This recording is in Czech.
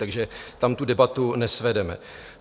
Takže tam tu debatu nesvedeme.